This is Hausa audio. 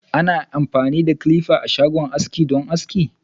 Abokan ciniki sun zo don salon aski a shago.